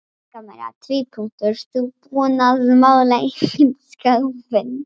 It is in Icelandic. Helga María: Þú búinn að mála einhvern skápinn?